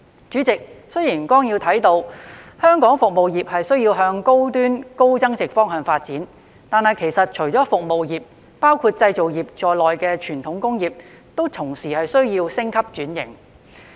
主席，雖然綱要提到，香港服務業需向高端、高增值方向發展，但其實除了服務業，包括製造業在內的傳統工業，同時需要升級轉型。